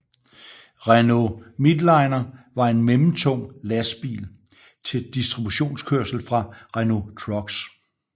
Renault Midliner var en mellemtung lastbil til distributionskørsel fra Renault Trucks